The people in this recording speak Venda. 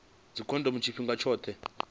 dzikhondomo tshifhinga tshoṱhe arali vha